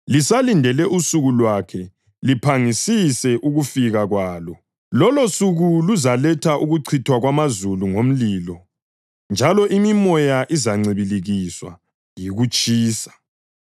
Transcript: lisalindele usuku lwakhe liphangisise ukufika kwalo. Lolosuku luzaletha ukuchithwa kwamazulu ngomlilo, njalo imimoya izancibilikiswa yikutshisa.